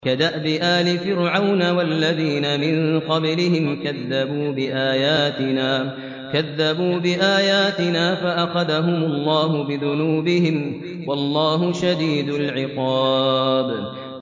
كَدَأْبِ آلِ فِرْعَوْنَ وَالَّذِينَ مِن قَبْلِهِمْ ۚ كَذَّبُوا بِآيَاتِنَا فَأَخَذَهُمُ اللَّهُ بِذُنُوبِهِمْ ۗ وَاللَّهُ شَدِيدُ الْعِقَابِ